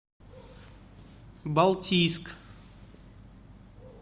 балтийск